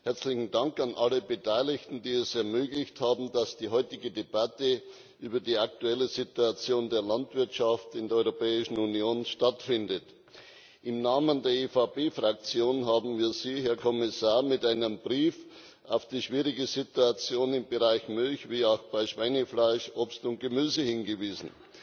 Herzlichen Dank an alle Beteiligten, die es ermöglicht haben, dass die heutige Debatte über die aktuelle Situation der Landwirtschaft in der Europäischen Union stattfindet. Im Namen der EVP Fraktion haben wir Sie, Herr Kommissar, mit einem Brief auf die schwierige Situation im Bereich Milch wie auch bei Schweinefleisch, Obst und Gemüse hingewiesen.